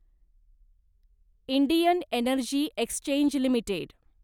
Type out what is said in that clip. Indian energy exchange limited